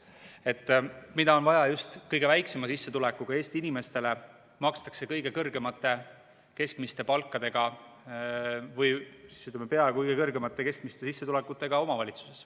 Hüvitist, mida on vaja just kõige väiksema sissetulekuga Eesti inimestele, makstakse kõige kõrgemate keskmiste palkadega või peaaegu kõige kõrgemate keskmiste sissetulekutega omavalitsuses.